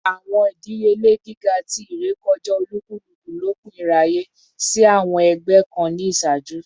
Awọn idiyele giga ti irekọja olukuluku lopin iraye si awọn ẹgbẹ kan ni iṣaaju